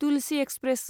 Tulsi express